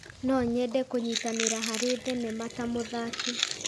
No nyende kũnyitanĩra harĩ thenema ta mũthaki.